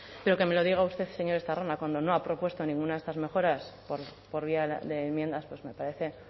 pero que me lo diga usted señor estarrona cuando no ha propuesto ninguna de estas mejoras por vía de enmiendas pues me parece